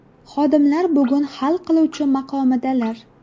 Xodimlar bugun hal qiluvchi maqomidalar!